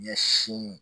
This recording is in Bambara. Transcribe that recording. Ɲɛsin